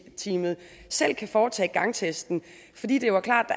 selv kan foretage gangtesten fordi det jo er klart